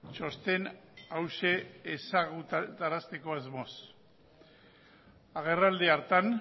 txosten hauxe ezagutarazteko asmoz agerraldi hartan